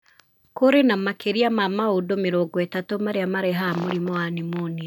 Kũrĩ na makĩria ma maũndũ mĩrongo ĩtatu marĩa marehaga mũrimũ wa pneumonia.